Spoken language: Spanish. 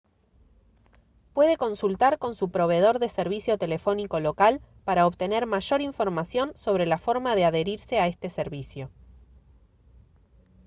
puede consultar con su proveedor de servicio telefónico local para obtener mayor información sobre la forma de adherirse a este servicio